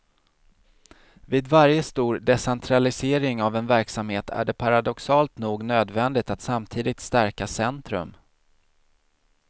Vid varje stor decentralisering av en verksamhet är det paradoxalt nog nödvändigt att samtidigt stärka centrum.